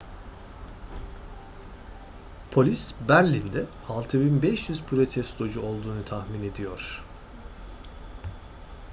polis berlin'de 6500 protestocu olduğunu tahmin ediyor